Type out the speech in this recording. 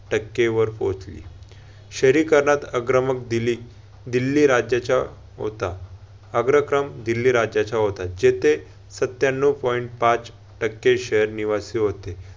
टक्केवर पोहोचली. शहरीकरणात अग्रमक दिल्ली दिल्ली राज्याचा होता. अग्रक्रम दिल्ली राज्याचा होता, जेथे सत्यानऊ point पाच टक्के शहर निवासी होते.